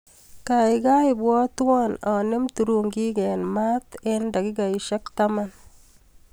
Kaikai ibwatwa anemu turungik eng mat eng dakikaek taman.